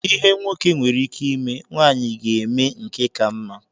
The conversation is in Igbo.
Ihe nwoke nwere ike ime, nwaanyị ga eme nke ka mma.